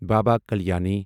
Baba Kalyani